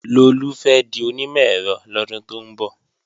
Lolú fẹ́ di onímọ̀-ẹ̀rọ lọ́dún tó ń bọ̀